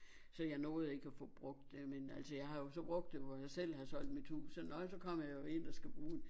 Så jeg nåede ikke at få brugt det men altså jeg har så brugt det hvor jeg selv har solgt mit hus så nå ja så kommer jeg jo ind og skal bruge det